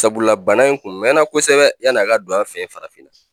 Sabula bana in kun mɛnna kosɛbɛ yann'a ka don an fɛ yen farafinna